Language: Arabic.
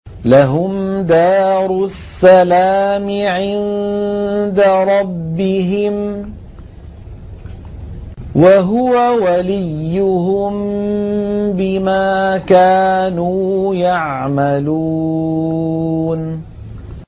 ۞ لَهُمْ دَارُ السَّلَامِ عِندَ رَبِّهِمْ ۖ وَهُوَ وَلِيُّهُم بِمَا كَانُوا يَعْمَلُونَ